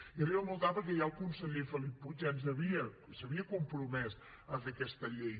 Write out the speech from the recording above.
i arriba molt tard perquè ja el conseller felip puig s’havia compromès a fer aquesta llei